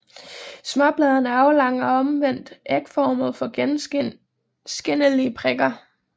Småbladene er aflange og omvendt ægformede med gennemskinnelige prikker